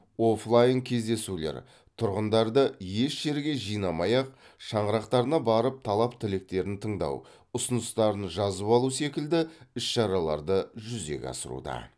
офлайн кездесулер тұрғындарды еш жерге жинамай ақ шаңырақтарына барып талап тілектерін тыңдау ұсыныстарын жазып алу секілді іс шараларды жүзеге асыруда